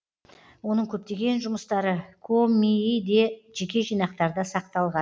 оның көптеген жұмыстары комии де жеке жинақтарда сақталған